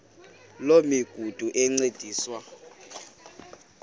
loo migudu encediswa